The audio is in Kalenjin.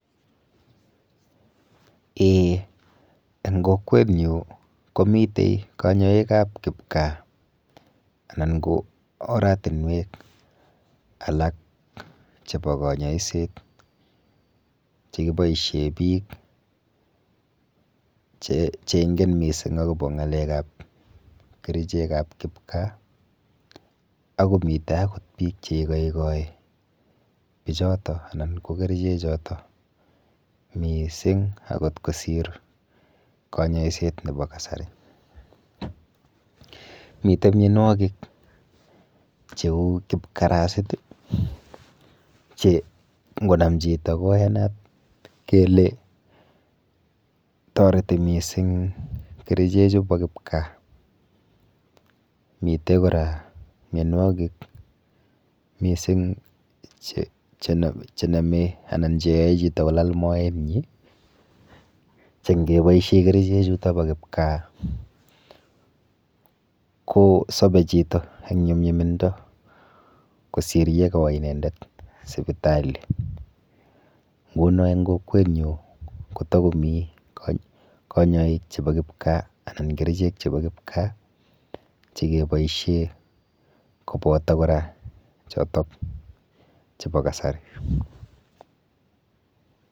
Eeh eng kokwenyu komite kanyoikap kipkaa anan ko oratinwek alak chepo kanyoiset chekiboishe biik cheingen mising akopo kerichekap kipkaa akomite akot biik cheikoikoi bichoto anan ko kerichechoto miising akot kosir kanyoiset nepo kasari. Mite mienwokik cheu kipkarasit che ngonam chito ko iyanat kele toreti mising kerichechu po kipkaa. Mite kora mienwokik mising chenome anan cheyoe chito kolal moenyi che ngeboishe kerichechuto po kipkaa kosope chito eng nyumnyumindo kosir yekowo inendet sipitali. Nguno eng kokwenyu kotakomi kanyoik chepo kipkaa anan kerichek chepo kipkaa chekeboishe kopoto kora chotok chepo kasari.